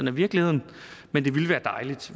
er virkeligheden men det ville være dejligt